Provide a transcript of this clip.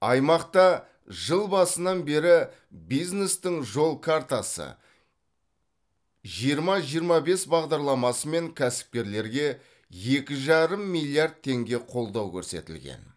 аймақта жыл басынан бері бизнестің жол картасы жиырма жиырма бес бағдарламасымен кәсіпкерлерге екі жарым миллиард теңге қолдау көрсетілген